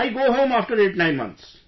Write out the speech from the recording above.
I go home after 89 months